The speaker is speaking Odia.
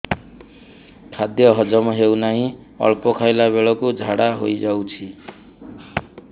ଖାଦ୍ୟ ହଜମ ହେଉ ନାହିଁ ଅଳ୍ପ ଖାଇଲା ବେଳକୁ ଝାଡ଼ା ହୋଇଯାଉଛି